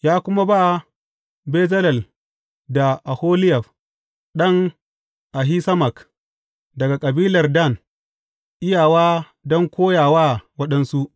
Ya kuma ba Bezalel da Oholiyab ɗan Ahisamak, daga kabilar Dan, iyawa don koya wa waɗansu.